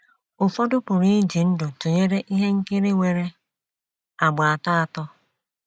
Ụfọdụ pụrụ iji ndụ tụnyere ihe nkiri nwere àgbà atọ atọ.